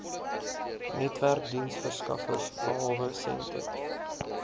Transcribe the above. netwerkdiensverskaffers behalwe sentech